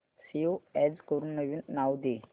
save as करून नवीन नाव दे